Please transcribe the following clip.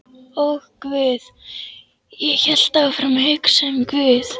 Og guð, ég hélt áfram að hugsa um guð.